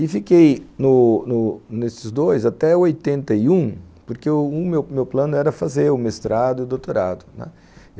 E fiquei no no nesses dois até oitenta e um, porque o meu plano era fazer o mestrado e o doutorado, né.